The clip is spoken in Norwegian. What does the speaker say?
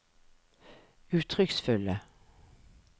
uttrykksfulle